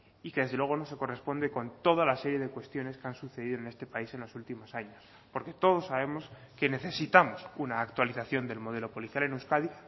y que desde luego no se corresponde con toda la serie de cuestiones que han sucedido en este país en los últimos años porque todos sabemos que necesitamos una actualización del modelo policial en euskadi